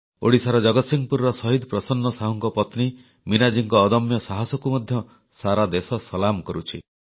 ଓଡ଼ିଶାର ଜଗତସିଂହପୁରର ଶହୀଦ ପ୍ରସନ୍ନ ସାହୁଙ୍କ ପତ୍ନୀ ମୀନାଜୀଙ୍କ ଅଦମ୍ୟ ସାହସକୁ ମଧ୍ୟ ସାରା ଦେଶ ସଲାମ କରୁଛି